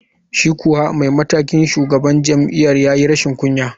Shi kuwa mataimakin shugaban jami’ar ya yi rashin kunya.